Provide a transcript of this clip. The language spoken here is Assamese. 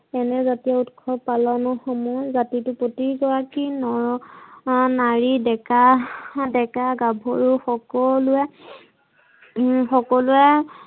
এনে জাতিয় ঊৎসৱ পালনৰ সময়ত জাতিতোৰ প্ৰতিগৰাকী নৰ-নাৰী, ডেকা ডেকা-গাভৰু সকলোৱে হম সকলোৱে